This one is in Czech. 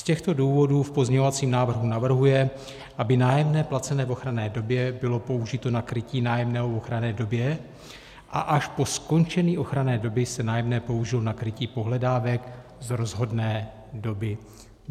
Z těchto důvodů v pozměňovacím návrhu navrhuje, aby nájemné placené v ochranné době bylo použito na krytí nájemného v ochranné době a až po skončení ochranné doby se nájemné použilo na krytí pohledávek z rozhodné doby.